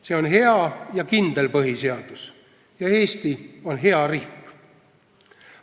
See on hea ja kindel põhiseadus ning Eesti on hea riik.